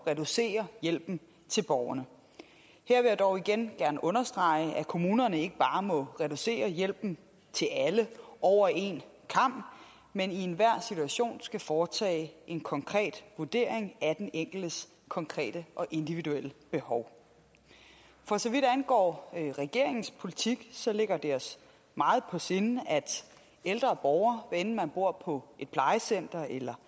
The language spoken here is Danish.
reducere hjælpen til borgerne her vil jeg dog igen gerne understrege at kommunerne ikke bare må reducere hjælpen til alle over en kam men i enhver situation skal foretage en konkret vurdering af den enkeltes konkrete og individuelle behov for så vidt angår regeringens politik ligger det os meget på sinde at ældre borgere hvad enten man bor på et plejecenter eller